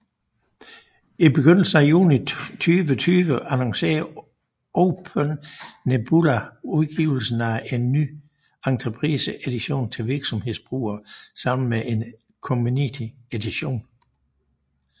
I begyndelsen af juni 2020 annoncerede OpenNebula udgivelsen af en ny Enterprise Edition til virksomhedsbrugere sammen med en Community Edition